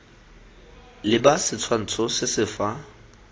leba setshwantsho se se fa